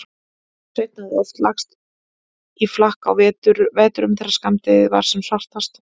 Sveinn hafði oft lagst í flakk á vetrum þegar skammdegið var sem svartast.